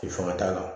K'i fanga t'a la